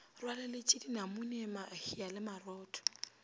rwaleletše dinamune mahea le marotho